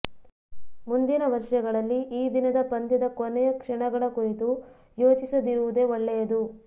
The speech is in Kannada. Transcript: ಮುಂದಿನ ವರ್ಷಗಳಲ್ಲಿ ಈ ದಿನದ ಪಂದ್ಯದ ಕೊನೆಯ ಕ್ಷಣಗಳ ಕುರಿತು ಯೋಚಿಸದಿರುವುದೇ ಒಳ್ಳೆಯದು